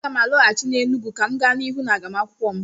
Aga m alọghachi n'Enugwu ka m gaa n'ihu n'agụmakwụkwọ m